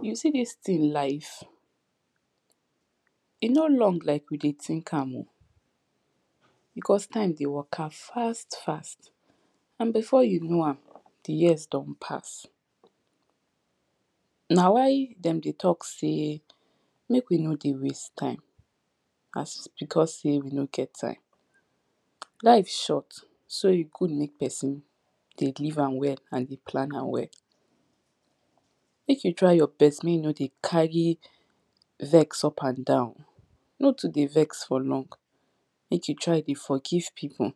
You see dis tin life e no long like we dey think am o because time dey waka fast, fast and before you know am, di years don pass na why dem dey talk sey mek we no dey waste time as because sey we nor get time life short, so e good mek person dey live am well and dey plan am well mek you try your best mek you nor dey carry vex upandown no too dey vex for long mek you try dey forgive people,